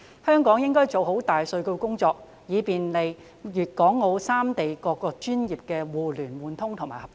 香港應該做好大數據工作，以便利粵港澳三地各個專業的互聯互通和合作。